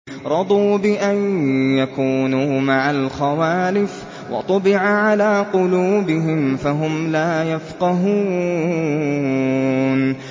رَضُوا بِأَن يَكُونُوا مَعَ الْخَوَالِفِ وَطُبِعَ عَلَىٰ قُلُوبِهِمْ فَهُمْ لَا يَفْقَهُونَ